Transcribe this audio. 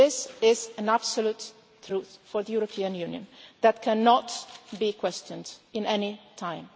This is an absolute truth for the European Union that cannot be questioned at any time.